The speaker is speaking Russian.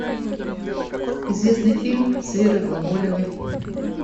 известный фильм с верой глаголевой